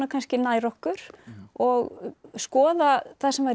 nær okkur og skoða það sem var í